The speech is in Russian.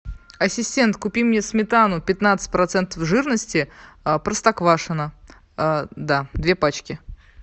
ассистент купи мне сметану пятнадцать процентов жирности простоквашино да две пачки